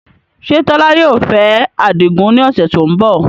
Ṣé Tola yóò fẹ́ Adigun ní ọ̀sẹ̀ tó ń bọ̀?